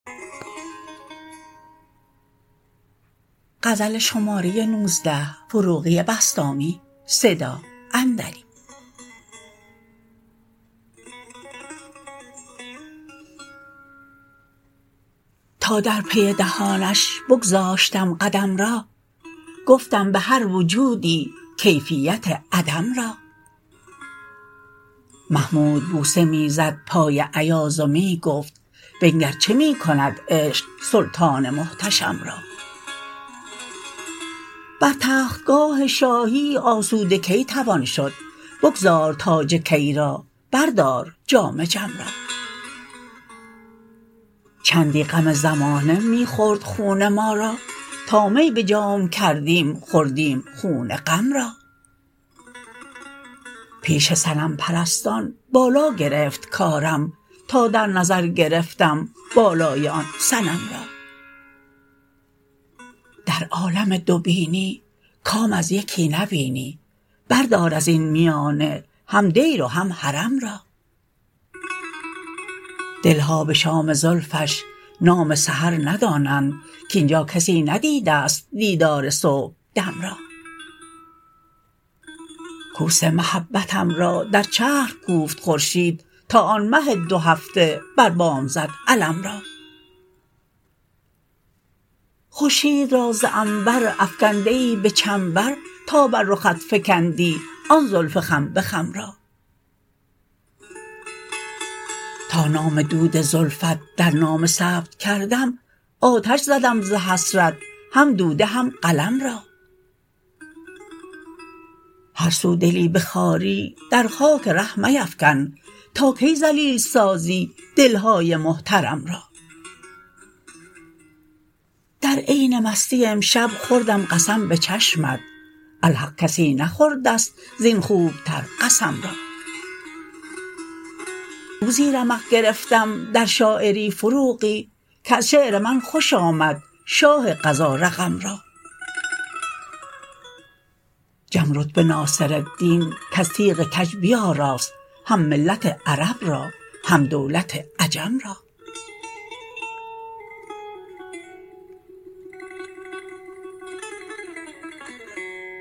تا در پی دهانش بگذاشتم قدم را گفتم به هر وجودی کیفیت عدم را محمود بوسه می زد پای ایاز و می گفت بنگر چه می کند عشق سلطان محتشم را بر تخت گاه شاهی آسوده کی توان شد بگذار تاج کی را بردار جام جم را چندی غم زمانه می خورد خون ما را تا می به جام کردیم خوردیم خون غم را پیش صنم پرستان بالا گرفت کارم تا در نظر گرفتم بالای آن صنم را در عالم دو بینی کام از یکی نبینی بردار از این میانه هم دیر و هم حرم را دلها به شام زلفش نام سحر ندانند که اینجا کسی ندیده ست دیدار صبح دم را کوس محبتم را در چرخ کوفت خورشید تا آن مه دو هفته بر بام زد علم را خورشید را ز عنبر افکنده ای به چنبر تا بر رخت فکندی آن زلف خم به خم را تا نام دود زلفت در نامه ثبت کردم آتش زدم ز حسرت هم دوده هم قلم را هر سو دلی به خواری در خاک ره میفکن تا کی ذلیل سازی دلهای محترم را در عین مستی امشب خوردم قسم به چشمت الحق کسی نخورده ست زین خوب تر قسم را روزی رمق گرفتم در شاعری فروغی کز شعر من خوش آمد شاه قضا رقم را جم رتبه ناصرالدین کز تیغ کج بیاراست هم ملت عرب را هم دولت عجم را